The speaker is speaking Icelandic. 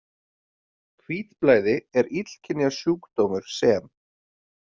Hvítblæði er illkynja sjúkdómur sem.